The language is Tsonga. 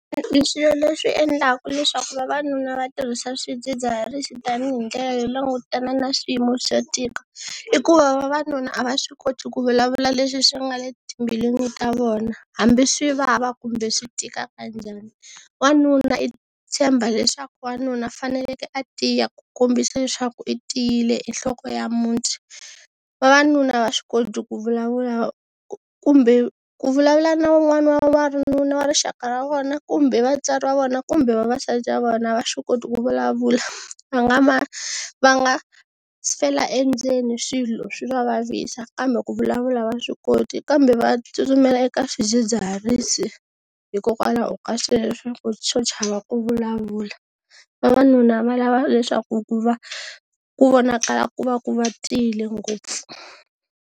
Swilo leswi endlaka leswaku vavanuna va tirhisa swidzidziharisi tanihi ndlela yo langutana na swiyimo swo tika i ku va vavanuna a va swi koti ku vulavula leswi swi nga le timbilwini ta vona hambi swi vava kumbe swi tika kanjhani. Wanuna i tshemba leswaku wanuna faneleke a tiya ku kombisa leswaku i tiyile i nhloko ya muti, vavanuna a va swi koti ku vulavula kumbe ku vulavula na wun'wana wa n'wanuna wa rixaka ra vona kumbe vatswari va vona kumbe vavasati va vona a va swi koti ku vulavula, va nga va nga fela endzeni swilo swi va vavisa kambe ku vulavula a va swi koti kambe va tsutsumela eka swidzidziharisi hikokwalaho ka sweswo swo chava ku vulavula. Vavanuna va lava leswaku ku va ku vonakala ku va ku va tiyile ngopfu.